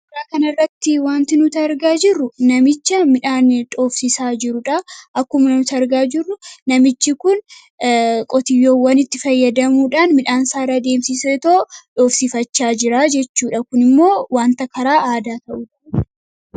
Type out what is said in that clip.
Suuraa kanarratti wanti nuti argaa jirru namicha midhaan dhoofsisaa jirudha. Akkuma namicha arginu namichi kun qotiyyoowwanitti fayyadamuudhaan midhaansaa irra deemsisee dhoofsifachaa jira jechuudha . Kunimmoo wanta karaa aadaa ta'udha.